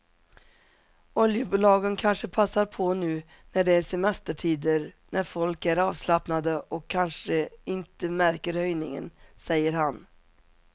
Oljebolagen kanske passar på nu när det är semestertider när folk är avslappnade och kanske inte märker höjningen, säger han.